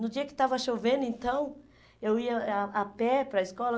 No dia que estava chovendo, então, eu ia a a pé para a escola.